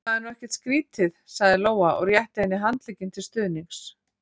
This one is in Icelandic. Það er nú ekkert skrítið, sagði Lóa og rétti henni handlegginn til stuðnings.